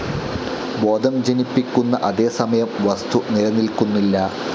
ബോധം ജനിപ്പിക്കുന്ന അതേസമയം വസ്തു നിലനിൽക്കുന്നില്ല.